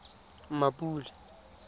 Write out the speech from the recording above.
mmapule